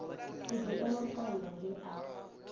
u dzhielwa vhukando nge a